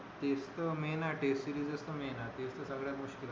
तेच तर main आहे test series तर main आहे तेच तर सगळया गोष्टी आहे